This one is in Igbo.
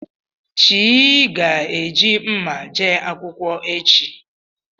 Chi gá eji mma jee akwụkwọ echi.